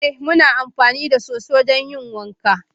Muna amfani da soso don yin wanka